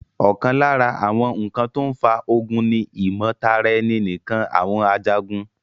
ọ̀kan lára àwọn ǹkan tó n fa ogun ni ìmọ̀tara ẹni nìkan àwọn Ajagun